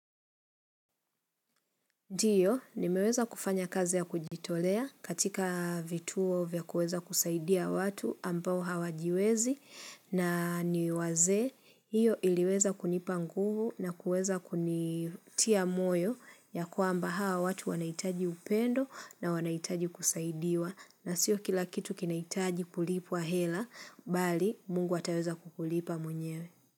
Ndiyo, nimeweza kufanya kazi ya kujitolea katika vituo vya kuweza kusaidia watu ambao hawajiwezi na ni wazee. Iyo iliweza kunipa nguvu na kuweza kunitia moyo ya kwamba hawa watu wanaitaji upendo na wanaitaji kusaidiwa. Na sio kila kitu kinahitaji kulipwa hela, bali mungu ataweza kukulipa mwenyewe.